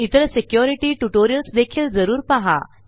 इतरsecurity tutorials देखील जरूर पाहा